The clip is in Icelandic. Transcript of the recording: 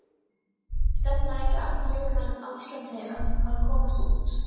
Stefna ekki allir leikmenn á Íslandi á að komast út?